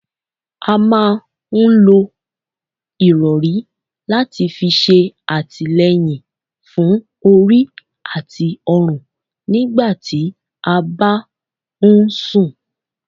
A máa ń lò ìrọri láti fi ṣe atileyin fún orí àti ọrun nígbà tí a bá ń sún